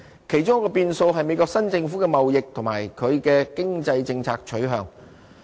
其中一個變數是美國新政府的貿易及它的經濟政策取向。